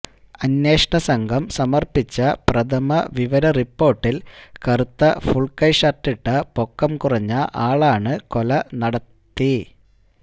അന്വേഷണ സംഘം സമർപ്പിച്ച പ്രഥമ വിവര റിപ്പോർട്ടിൽ കറുത്ത ഫുൾക്കൈ ഷർട്ടിട്ട പൊക്കംകുറഞ്ഞ ആളാണ് കൊല നടത്ത